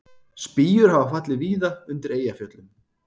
Spýjur hafa fallið víða undir Eyjafjöllum